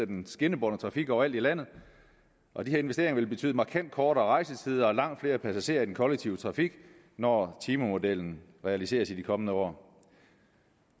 den skinnebårne trafik overalt i landet og de her investeringer vil betyde markant kortere rejsetider og langt flere passagerer i den kollektive trafik når timemodellen realiseres i de kommende år